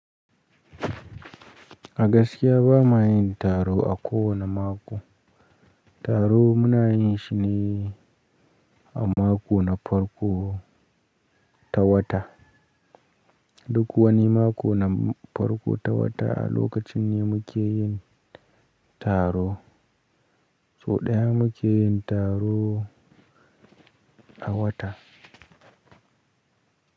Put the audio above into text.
A gaskiya ba muwa yin taro a ko wane mako. Taro muna yin shi ne a mako na farko ta wata. Duk wane mako na farko ta wata a lokacin ne mu ke yin taro. So ɗaya mu ke yin taro a wata.